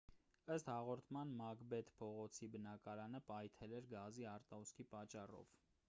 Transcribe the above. ըստ հաղորդման մակբեթ փողոցի բնակարանը պայթել էր գազի արտահոսքի պատճառով